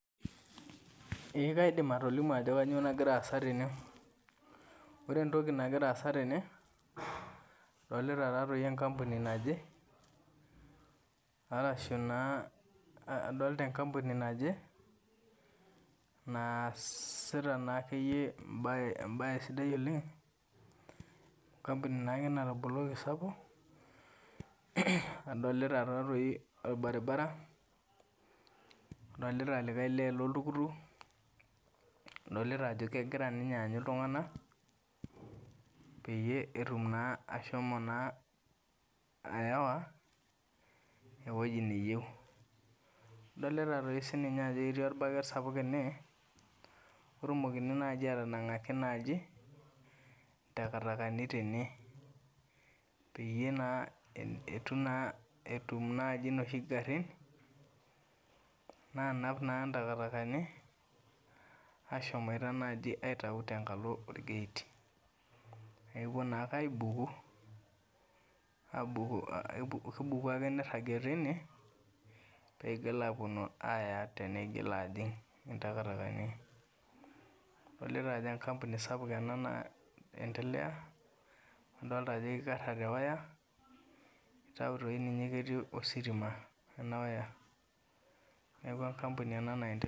Eeh kaidim atolimu ajo kanyoo nagiraasa tene. Orentoki nagiraasa tene adolita taa toi enkampuni naje arashu naa adolita enkampuni naje naasita naakeyie embaye embaye sidai oleng', enkampuni naakeyie nataboloki sapuk, adolita taa toi olbaribara, adolita likai lee loltukutuk, adolita ajo kegira ninye aanyu iltung'anak peyie etum naa ashomo naa ayawa ewueji neyeu. Adolita toi sininye ajo ketii olbaket sapuk ene otumokini naji atanang'aki naji takatakani tene, peyie naa [ehn] etu naa etum naji noshi garrin naanap naa ntakatakani ashomoita naji aitau tenkalo olgeit. Nakepuo nake aibuku aabuku kebuku ake neirragie teine peigil apuonu aaya teneigil ajing' intakatakani. Adolita ajo enkampuni sapuk ena naendelea, adolita ajo keikarra te waya eitiu toi ninye ketii ositima ena waya. Neaku enkampuni ena naendelea.